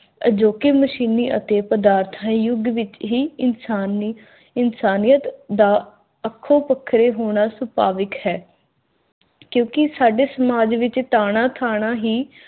ਅਜੋਕੇ ਮਸ਼ੀਨੀ ਅਤੇ ਪਦਾਰਥਾਈ ਯੁਗ ਵਿਚ ਹੀ ਇਨਸਾਨ ਨੇ ਇਨਸਾਨੀਅਤ ਦਾ ਅੱਖੋਂ ਪਕਰੇ ਹੋਣਾ ਸੁਪਾਵਿਕ ਹੈ। ਕਿਉਕਿ ਸਾਡੇ ਸਮਾਜ ਵਿਚ ਤਾਣਾ ਥਾਣਾ ਹੀ